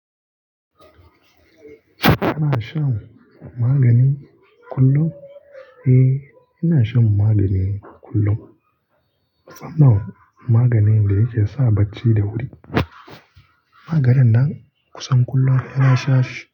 Kana shan magani kullum? Eh, ina shan magani kullum. Sanan maganin da yake sa bacci da wuri. Maganin nan kusan kullum saina sha shi.